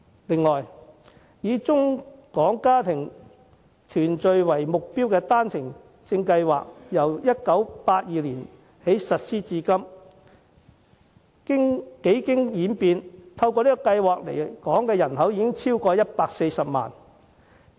此外，以中港家庭團聚為目標的單程證計劃，自1982年起實施，至今已有超過140萬人透過計劃來港定居。